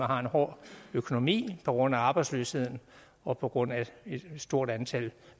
har en hård økonomi på grund af arbejdsløsheden og på grund af et stort antal